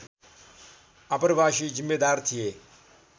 आप्रवासी जिम्मेदार थिए